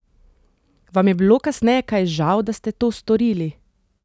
Vam je bilo kasneje kaj žal, da ste to storili?